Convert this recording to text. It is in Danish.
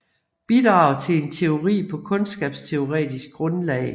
Bidrag til en teori på kundskabsteoretisk grundlag